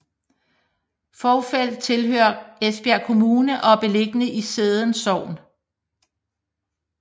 Fovrfeld tilhører Esbjerg Kommune og er beliggende i Sædden Sogn